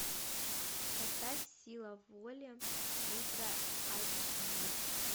поставь сила воли ультра айч ди